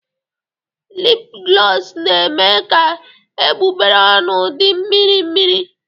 Lipglọs na-eme ka egbugbere ọnụ dị mmirimmiri.